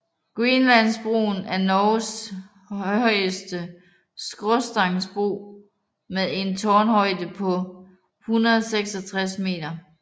Grenlandsbroen er Norges højeste skråstagsbro med en tårnhøjde på 166 meter